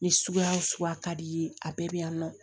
Ni suguya o suguya ka di i ye a bɛɛ bɛ yan nɔ